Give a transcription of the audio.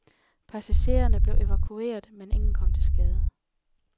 Passagererne blev evakueret, men ingen kom til skade.